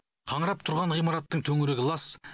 қаңырап тұрған ғимараттың төңірегі лас